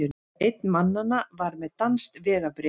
Einn mannanna var með danskt vegabréf